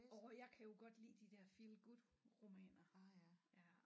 Orh jeg kan jo godt lide de der feel good romaner ja